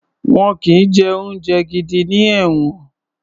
Wọn kì í jẹ oúnjẹ gidi ní ẹ̀wọ̀n